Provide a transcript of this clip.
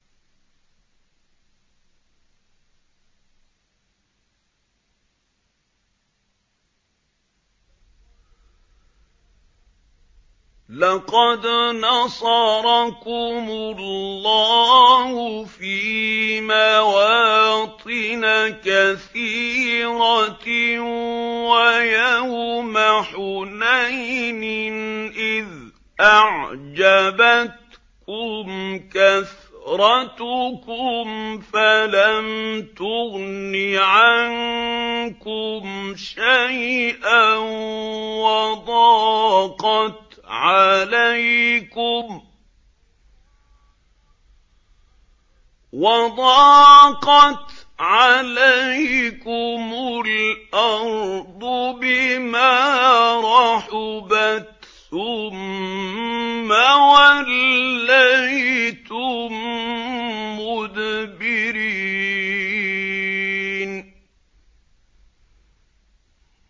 لَقَدْ نَصَرَكُمُ اللَّهُ فِي مَوَاطِنَ كَثِيرَةٍ ۙ وَيَوْمَ حُنَيْنٍ ۙ إِذْ أَعْجَبَتْكُمْ كَثْرَتُكُمْ فَلَمْ تُغْنِ عَنكُمْ شَيْئًا وَضَاقَتْ عَلَيْكُمُ الْأَرْضُ بِمَا رَحُبَتْ ثُمَّ وَلَّيْتُم مُّدْبِرِينَ